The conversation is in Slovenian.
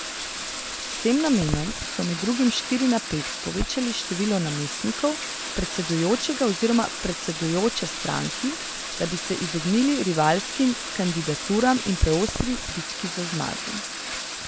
S tem namenom so med drugim s štiri na pet povečali število namestnikov predsedujočega oziroma predsedujoče stranki, da bi se izognili rivalskim kandidaturam in preostri bitki za zmago.